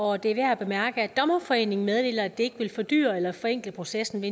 og det er værd at bemærke at dommerforeningen meddeler at det vil fordyre eller forenkle processen at